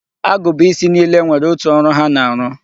Agụba isi niile nwere otu ọrụ ha na-arụ.